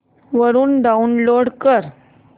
वरून डाऊनलोड कर